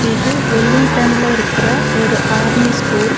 இது வெல்லிங்டன்ல இருக்கற ஒரு ஆர்மி ஸ்கூல் .